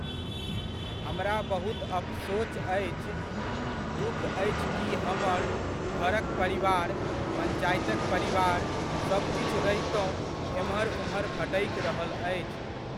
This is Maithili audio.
हमरा बहुत अफसोच अछि, दुःख अछि कि हमर घरक परिवार, पञ्चायतक परिवार सबकिछु रहितहुँ एम्हर उम्हर भटकि रहल अछि।